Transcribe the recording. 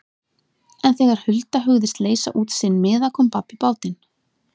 En þegar Hulda hugðist leysa út sinn miða kom babb í bátinn.